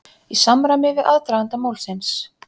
Í samræmi við aðdraganda málsins